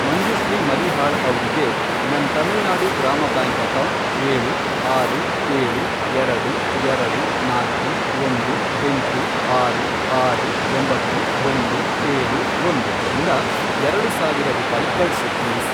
ಮಂಜುಶ್ರೀ ಮರೀಹಾಳ್ ಅವ್ರಿಗೆ ನನ್ ತಮಿಳ್ನಾಡು ಗ್ರಾಮ ಬ್ಯಾಂಕ್ ಅಕೌಂಟ್, ಏಳು, ಆರು, ಏಳು, ಎರಡು, ಎರಡು, ನಾಲ್ಕು, ಒಂದು, ಎಂಟು, ಆರು, ಆರು, ಒಂಬತ್ತು, ಒಂದು, ಏಳು, ಒಂದು, ಇಂದ ಎರಡು ಸಾವಿರ ರೂಪಾಯಿ ಕಳ್ಸು ಪ್ಲೀಸ್.